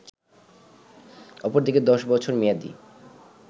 অপরদিকে ১০ বছর মেয়াদি